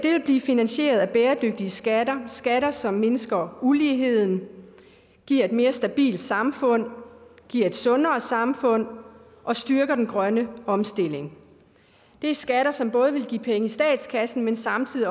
blive finansieret af bæredygtige skatter skatter som mindsker uligheden giver et mere stabilt samfund giver et sundere samfund og styrker den grønne omstilling det er skatter som både ville give penge i statskassen men samtidig